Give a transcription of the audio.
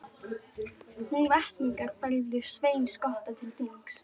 Húnvetningar færðu Svein skotta til þings.